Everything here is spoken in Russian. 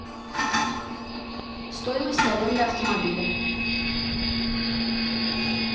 стоимость аренды автомобиля